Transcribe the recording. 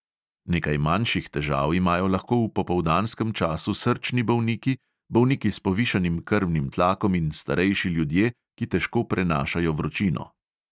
Nekaj manjših težav imajo lahko v popoldanskem času srčni bolniki, bolniki s povišanim krvnim tlakom in starejši ljudje, ki težko prenašajo vročino.